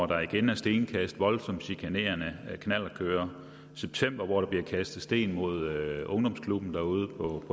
der igen stenkast og voldsomt chikanerende knallertkørere i september blev der kastet sten mod ungdomsklubben derude